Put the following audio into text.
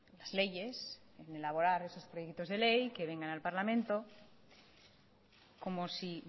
las leyes en elaborar esos proyectos de ley que vengan al parlamento como si